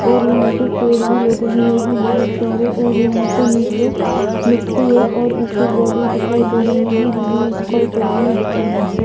और यहाँ पे पेड़ भी लगे हुये है बहोत सारे और यहाँ पे निचे मिटटी है और ऊपर दिख रहे है। जो कि स्काई कलर दिख रहा है